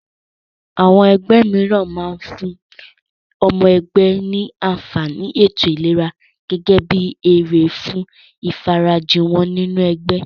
Àwọn ẹgbẹ́ mìíràn máa fún ọmọ ẹgbẹ́ ní àǹfàní ètò ìlera gẹ́gẹ́ bí èrè fún ìfarajì wọ́n nínú ẹgbẹ́.